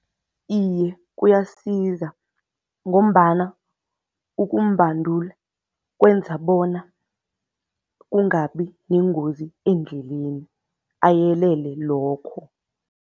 Iye, kuyasiza ngombana ukumbandula kwenza bona kungabi nengozi endleleni, ayelele lokho.